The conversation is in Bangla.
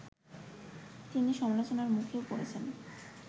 তিনি সমালোচনার মুখেও পড়েছেন